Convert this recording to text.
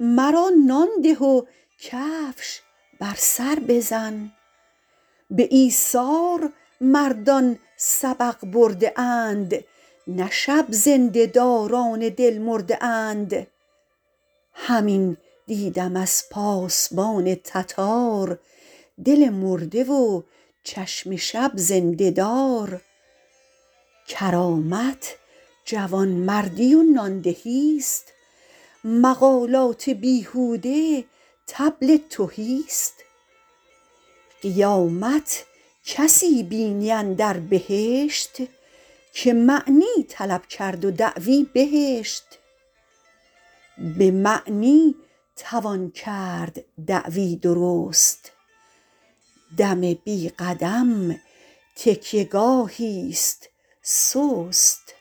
مرا نان ده و کفش بر سر بزن به ایثار مردان سبق برده اند نه شب زنده داران دل مرده اند همین دیدم از پاسبان تتار دل مرده و چشم شب زنده دار کرامت جوانمردی و نان دهی است مقالات بیهوده طبل تهی است قیامت کسی بینی اندر بهشت که معنی طلب کرد و دعوی بهشت به معنی توان کرد دعوی درست دم بی قدم تکیه گاهی است سست